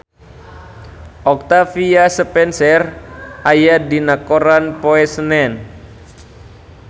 Octavia Spencer aya dina koran poe Senen